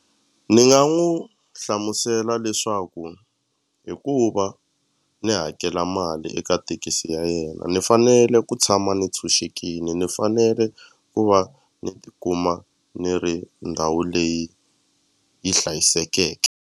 Ni nga n'wu hlamusela leswaku hi ku va ni hakela mali eka tekisi ya yena ni fanele ku tshama ni tshunxekini ni fanele ku va ni tikuma ni ri ndhawu leyi yi hlayisekeke.